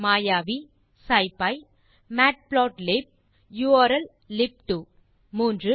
மாயாவி சிப்பி மேட்புளாட்லிப் உர்ல்லிப்2 3